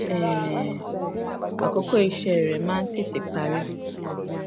um àkókò iṣé rè máa ń tètè parí